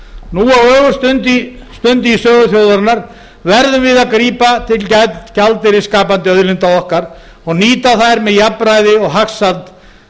nú á ögurstundu í sögu þjóðarinnar verðum við að grípa til gjaldeyrisskapandi auðlinda okkar og nýta þær með jafnræði og hagsæld